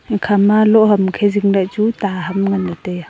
ekhama loh ham makhe zing lah ley chu ta ham ngan tai a.